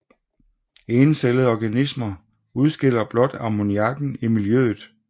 Encellede organismer udskiller blot ammoniakken i miljøet